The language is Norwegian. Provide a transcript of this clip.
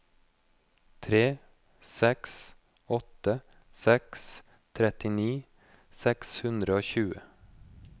tre seks åtte seks trettini seks hundre og tjue